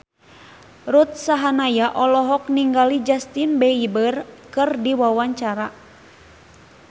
Ruth Sahanaya olohok ningali Justin Beiber keur diwawancara